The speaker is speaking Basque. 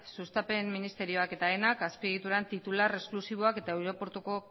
sustapen ministerioak eta aenak azpiegituran titular esklusiboa eta aireportuko